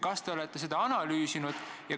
Kas te olete seda analüüsinud?